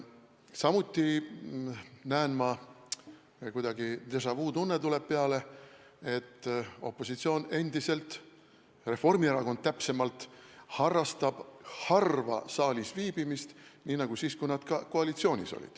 Samuti näen – kuidagi déjà-vu-tunne tuleb peale –, et opositsioon endiselt, täpsemalt Reformierakond, harrastab harva saalis viibimist nii nagu siis, kui nad olid koalitsioonis.